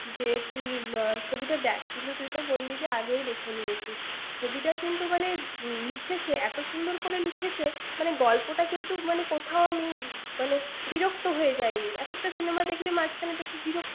যে তুই ছবিটা দেখ তুই তো বললি যে আগে দেখে নিয়েছিস ছবিটা কিন্তু মানে লিখেছে এত সুন্দর করে লিখেছে গল্পটা কিন্তু কোথাও মানে আমি বিরক্তি হয়ে যায় নি এক একটা cinema দেখলে মাঝখানে বিরক্তি ৷